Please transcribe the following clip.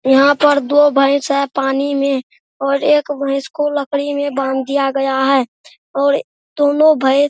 यहाँ पर दो भैस है पानी में और एक भैस को लकड़ी में बांध दिया गया है और दोनों भैस --